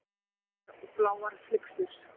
Hvítar og bláar flyksur.